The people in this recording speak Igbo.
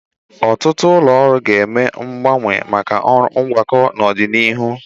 Ọtụtụ ụlọ ọrụ ga-eme mgbanwe maka ọrụ ngwakọ n'ọdịnihu.